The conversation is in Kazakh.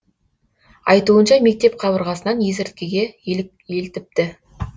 айтуынша мектеп қабырғасынан есірткіге елтіпті